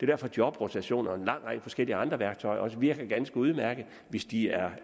derfor at jobrotation og en lang række forskellige andre værktøjer også virker ganske udmærket hvis de er